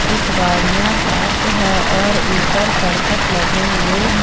कुछ गाडियाँ पार्क हैं और ऊपर करकट लगे हुए हैं।